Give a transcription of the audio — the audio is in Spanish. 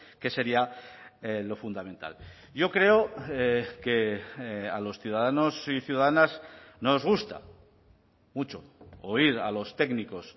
que sería lo fundamental yo creo que a los ciudadanos y ciudadanas nos gusta mucho oír a los técnicos